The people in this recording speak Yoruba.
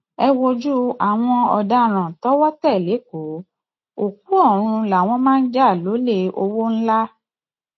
ẹ wojú àwọn ọdaràn tọwọ tẹ lẹkọọ òkú ọrun làwọn máa ń jà lólè ọwọ ńlá